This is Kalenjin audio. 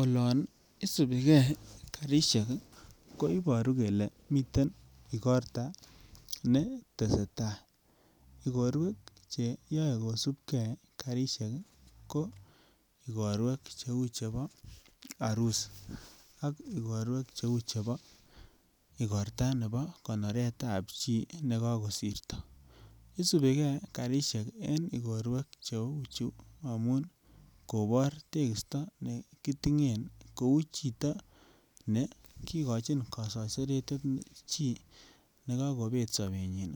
Olon isubike karisiek koibaru kole miten igorto ne teseta. Igorwek che yoe kosubke kariek ko igorwek cheu chebo arusi ak igorto nebo konoretab chi nekakosirto. Isubi ke karisiek en igorwek cheu chu ko amun kobor tekisto ne kitingen kou chito nekigochin kasaiseretet chi ne kakobet sobenyin.